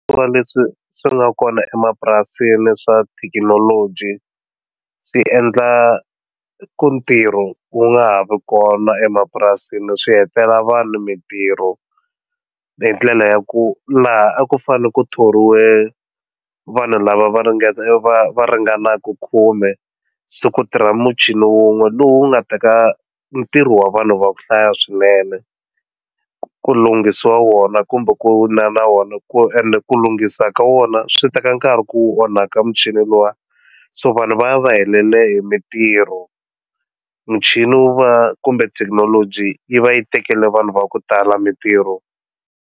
Hikuva leswi swi nga kona emapurasini swa thekinoloji swi endla ku ntirho ku nga ha vi kona emapurasini swi hetela vanhu mitirho hi ndlela ya ku laha a ku fane ku thoriwa ka vanhu lava va ringeta va va ringanaku khume siku ti ra muchini wun'we lowu nga teka ntirho wa vanhu va ku hlaya swinene ku lunghisiwa wona kumbe ku na na wona ku ende ku lunghisa ka wona swi teka nkarhi ku onhaka muchini lowa so vanhu va ya va helele hi mitirho muchini wu va kumbe thekinoloji yi va yi tekela vanhu va ku tala mitirho.